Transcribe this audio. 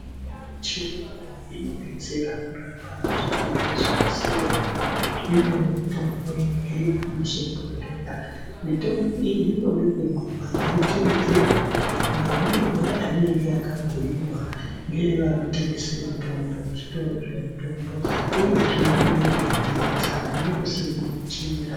Mitombo yechirungu inodetsera kurapa zvirwere zvakasiyana, imweni mitombo iri muzvibhohlera. Mitombo iyi inoda kumwiwa, yeiteedzerwa mamwirwe ainenge yakabhuiwa ngevanotengesa mitombo kuzvitoro zvemutombi, uyezve inoda kupedza aidi kusiira munjira.